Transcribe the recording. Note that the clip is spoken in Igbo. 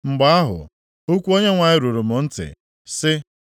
Mgbe ahụ, okwu Onyenwe anyị ruru m ntị, sị,